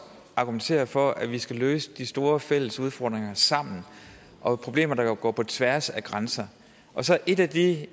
argumenterer for at vi sammen skal løse de store fælles udfordringer og problemer der går på tværs af grænser et af de